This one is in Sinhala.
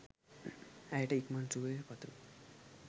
ඇයට ඉක්මන් සුවය පතමි